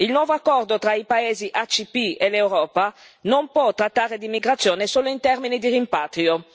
Il nuovo accordo tra i paesi ACP e l'Europa non può trattare di immigrazione solo in termini di rimpatrio.